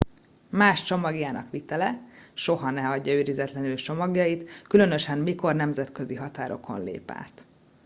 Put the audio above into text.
más csomagjának vitele soha ne hagyja őrizetlenül csomagjait különösen mikor nemzetközi határokon lép át